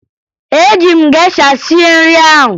Eji m gesha sie nri ahụ